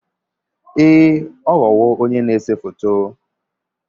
Ee ọ ghọwo onye na-ese foto